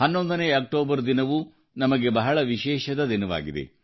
11ನೇ October ದಿನವೂ ನಮಗೆ ಬಹಳ ವಿಶೇಷದ ದಿನವಾಗಿದೆ